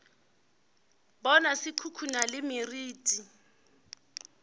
bona se khukhuna le meriti